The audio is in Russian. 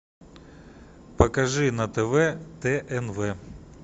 покажи на тв тнв